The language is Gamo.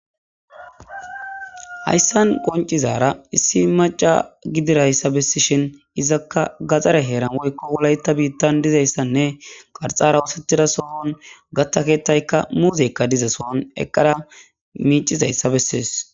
Hayssan qoncizara issi maca gidirayssa bessishin izakka gaxare heeran woykko wolaytta biittan dizayssanne qarxara woosettida sofon katta keettayka muuzeykka dizassoon eqqara miicizayssa bessees